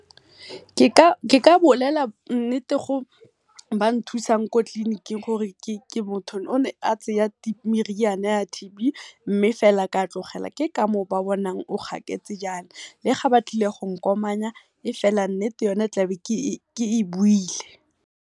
Ke ka bolela nnete go ba nthusang ko tleniking gore ke motho o ne a tseya meriana ya T_B mme fela ka tlogela, ke ka moo ba bonang o aketse jaana le ga ba tlile go nkomanya e fela nnete yone ke tla be ke e buile.